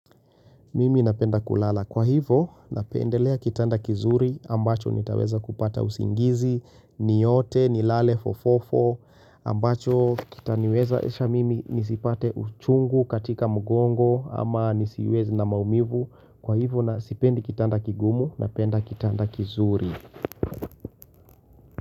Mimi napenda kulala. Kwa hivo, napendelea kitanda kizuri ambacho nitaweza kupata usingizi, niyote, nilale, fofofo, ambacho kitaniwezaesha mimi nisipate uchungu katika mgongo ama nisiwez na maumivu. Kwa hivo, na sipendi kitanda kigumu, napenda kitanda kizuri.